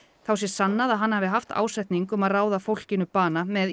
þá sé sannað að hann hafi haft ásetning um að ráða fólkinu bana með